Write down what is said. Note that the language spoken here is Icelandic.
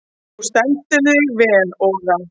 Þú stendur þig vel, Ora!